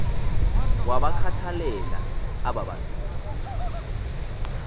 wabakhathalela aba bantu